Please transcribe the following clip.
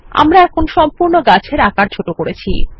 আমরা সম্পূর্ণ গাছের আকার ছোট করেছি160